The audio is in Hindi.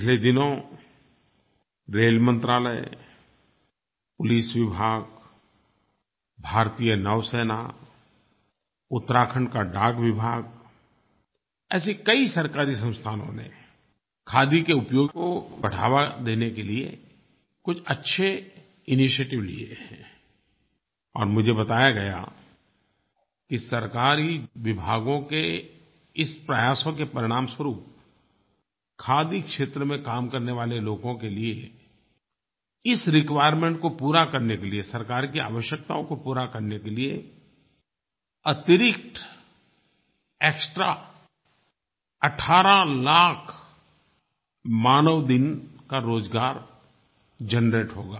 पिछले दिनों रेल मंत्रालय पुलिस विभाग भारतीय नौसेना उत्तराखण्ड का डाकविभाग ऐसे कई सरकारी संस्थानों ने खादी के उपयोग में बढ़ावा देने के लिए कुछ अच्छे इनिशिएटिव लिए हैं और मुझे बताया गया कि सरकारी विभागों के इस प्रयासों के परिणामस्वरूप खादी क्षेत्र में काम करने वाले लोगों के लिए इस रिक्वायरमेंट को पूरा करने के लिए सरकार की आवश्यकताओं को पूरा करने के लिए अतिरिक्त एक्सट्रा 18 लाख मानव दिन का रोज़गार जनरेट होगा